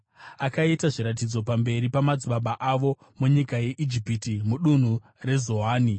Akaita zviratidzo pamberi pamadzibaba avo munyika yeIjipiti, mudunhu reZoani.